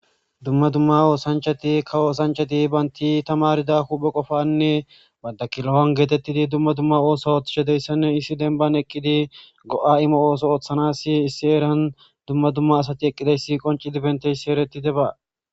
Dumma dumma oosanchati kawo osanchati banti tamarida huphe qofanne banta kilon geetettidi dumma dumma ooso ooththetishe de'iyasanne issi denban eqqidi go'a imo ooso ooththanasi issi eran dumma dumma asati eqqidayssi qoncidi beetiyaysi eretidaba.